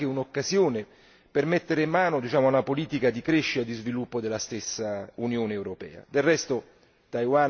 Ci sembra questa anche un'occasione per mettere mano a una politica di crescita e di sviluppo della stessa Unione europea.